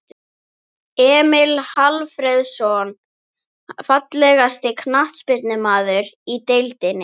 Emil Hallfreðsson Fallegasti knattspyrnumaðurinn í deildinni?